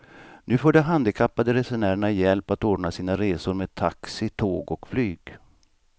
Nu får de handikappade resenärerna hjälp att ordna sina resor med taxi, tåg och flyg.